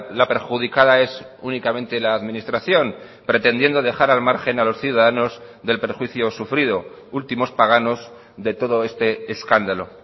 la perjudicada es únicamente la administración pretendiendo dejar al margen a los ciudadanos del perjuicio sufrido últimos páganos de todo este escándalo